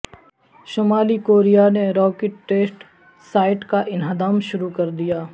شمالی کوریا نے rocket test site کا انہدام شروع کر دیا